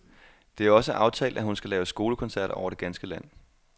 Det er også aftalt, at hun skal lave skolekoncerter over det ganske land.